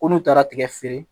Ko n'u taara tigɛ feere